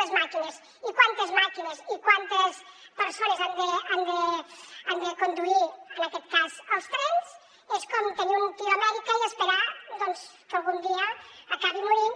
les màquines i quantes màquines i quantes persones han de conduir en aquest cas els trens és com tenir un tio a amèrica i esperar doncs que algun dia acabi morint i